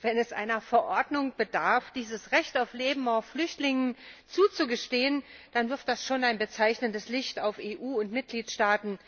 Wenn es einer Verordnung bedarf, dieses Recht auf Leben auch Flüchtlingen zuzugestehen, dann wirft das schon ein bezeichnendes Licht auf EU und Mitgliedstaaten,